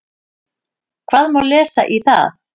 Hvað má lesa í það?